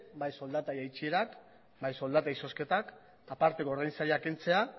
bai soldata jaitsierak bai soldata izozketak aparteko ordainsaria kentzea